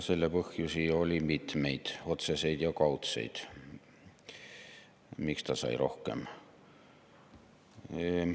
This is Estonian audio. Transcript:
Selle põhjusi oli mitmeid, otseseid ja kaudseid, miks ta sai rohkem pihta.